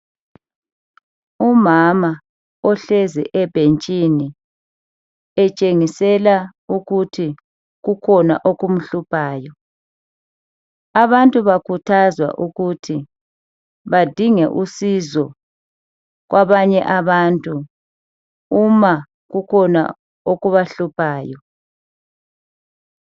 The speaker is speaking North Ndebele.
Ngumama ogqoke isiketi leyembe elamabalabala, uhlezi endlini eyakhiwe ngodaka okutshengisa ukuthi kusemakhaya.